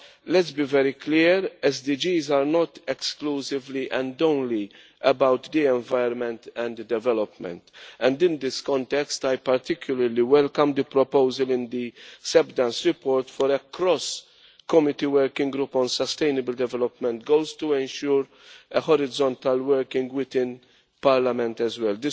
But let's be very clear SDGs are not exclusively and only about the environment and development, and in this context, I particularly welcome the proposal in the Seb Dance report for a cross committee working group on sustainable development goals to ensure a horizontal working within Parliament as well.